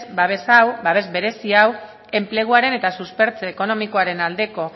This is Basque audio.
babes hau babes berezi hau enpleguaren eta suspertze ekonomikoaren aldeko